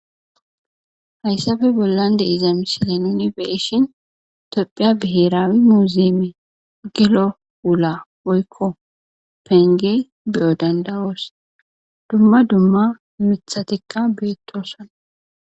Hayssape bollan dei'za misile nuni beishin topphiya biheraawi muzime gilo wula woykko penge beyo' dandawoos dumma dumma mithatikka beettoosana.